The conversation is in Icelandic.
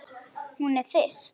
Hún er þyrst.